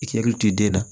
I k'i hakili to i den na